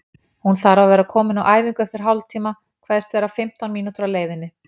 Hún þarf að vera komin á æfingu eftir hálftíma, kveðst vera fimmtán mínútur á leiðinni.